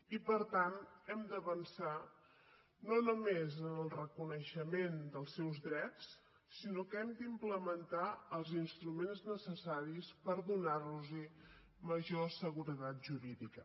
i per tant hem d’avançar no només en el reconeixement dels seus drets sinó que hem d’implementar els instruments necessaris per donar los major seguretat jurídica